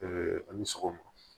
a ni sɔgɔma